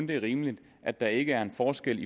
det er rimeligt at der ikke er en forskel